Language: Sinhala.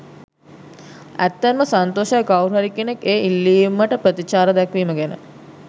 ඇත්තෙන්ම සන්තෝෂයි කවුරුහරි කෙනෙක් ඒ ඉල්ලීමට ප්‍රතිචාර දැක්වීම ගැන.